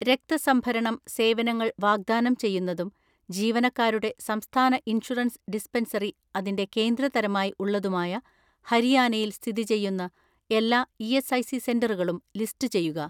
"രക്ത സംഭരണം സേവനങ്ങൾ വാഗ്‌ദാനം ചെയ്യുന്നതും ജീവനക്കാരുടെ സംസ്ഥാന ഇൻഷുറൻസ് ഡിസ്പെൻസറി അതിന്റെ കേന്ദ്ര തരമായി ഉള്ളതുമായ ഹരിയാനയിൽ സ്ഥിതി ചെയ്യുന്ന എല്ലാ ഇ.എസ്.ഐ.സി സെന്ററുകളും ലിസ്റ്റുചെയ്യുക."